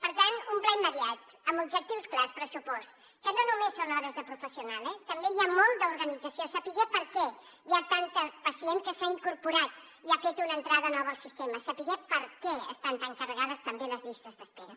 per tant un pla immediat amb objectius clars pressupost que no només són hores de professional eh també hi ha molt d’organització saber per què hi ha tant pacient que s’ha incorporat i ha fet una entrada nova al sistema saber per què estan tan carregades també les llistes d’espera